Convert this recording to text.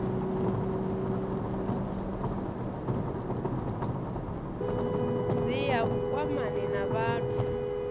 dti ya vhukwamani na vhathu